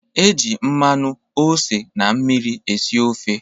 E ji mmanụ, ose, na mmiri esi ofe